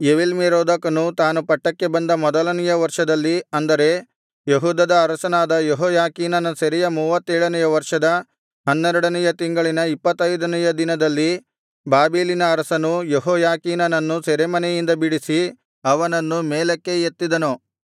ಎವೀಲ್ಮೆರೋದಕನು ತಾನು ಪಟ್ಟಕ್ಕೆ ಬಂದ ಮೊದಲನೆಯ ವರ್ಷದಲ್ಲಿ ಅಂದರೆ ಯೆಹೂದದ ಅರಸನಾದ ಯೆಹೋಯಾಖೀನನ ಸೆರೆಯ ಮೂವತ್ತೇಳನೆಯ ವರ್ಷದ ಹನ್ನೆರಡನೆಯ ತಿಂಗಳಿನ ಇಪ್ಪತ್ತೈದನೆಯ ದಿನದಲ್ಲಿ ಬಾಬೆಲಿನ ಅರಸನು ಯೆಹೋಯಾಖೀನನನ್ನು ಸೆರೆಮನೆಯಿಂದ ಬಿಡಿಸಿ ಅವನನ್ನು ಮೇಲಕ್ಕೆ ಎತ್ತಿದನು